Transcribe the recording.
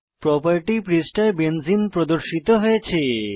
property পৃষ্ঠায় benzene প্রদর্শিত হয়েছে